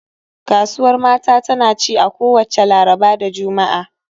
Kasuwar mata tana ci a kowacce Laraba da Juma'a